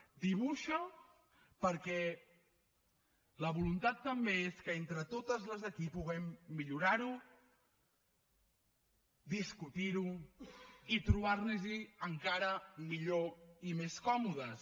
ho dibuixa perquè la voluntat també és que entre totes les d’aquí puguem millorar ho discutir ho i trobar nos hi encara millor i més còmodes